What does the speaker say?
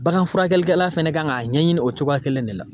Bagan furakɛlikɛla fɛnɛ kan ka ɲɛɲini o togoya kelen de la.